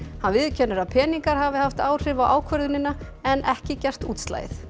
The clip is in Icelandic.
hann viðurkennir að peningar hafi haft áhrif á ákvörðunina en ekki gert útslagið